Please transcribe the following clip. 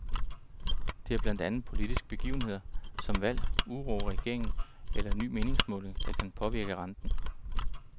Det er blandt andet politiske begivenheder, som valg, uro i regeringen eller en ny meningsmåling, der kan påvirke renten.